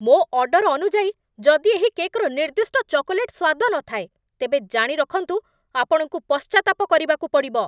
ମୋ ଅର୍ଡର ଅନୁଯାୟୀ ଯଦି ଏହି କେକ୍‌ର ନିର୍ଦ୍ଦିଷ୍ଟ ଚକୋଲେଟ୍ ସ୍ୱାଦ ନଥାଏ, ତେବେ ଜାଣିରଖନ୍ତୁ, ଆପଣଙ୍କୁ ପଶ୍ଚାତ୍ତାପ ପରିବାକୁ ପଡ଼ିବ!